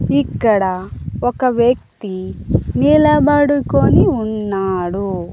ఇక్కడ ఒక వ్యక్తి నిలబడుకొని ఉన్నాడు.